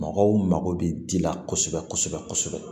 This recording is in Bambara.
Mɔgɔw mago bɛ ji la kosɛbɛ kosɛbɛ kosɛbɛ